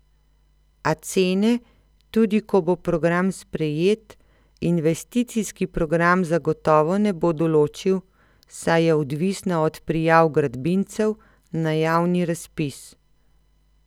A cene, tudi ko bo program sprejet, investicijski program zagotovo ne bo določil, saj je odvisna od prijav gradbincev na javni razpis.